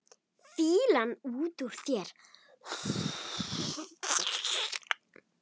Fýlan út úr þér!